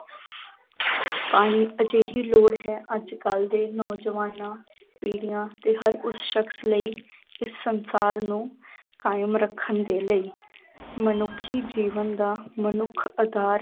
ਪਾਣੀ ਇੱਕ ਅਜਿਹੀ ਲੋੜ ਹੈ, ਅੱਜ ਕੱਲ੍ਹ ਦੇ ਨੌਜਵਾਨਾਂ ਪੀੜੀਆਂ ਤੇ ਹਰ ਉਸ ਸ਼ਕਸ ਲਈ ਇਸ ਸੰਸਾਰ ਨੂੰ ਕਾਇਮ ਰੱਖਣ ਦੇ ਲਈ ਮਨੁੱਖੀ ਜੀਵਨ ਦਾ ਮਨੁੱਖ ਆਧਾਰ